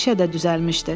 İşə də düzəlmişdi.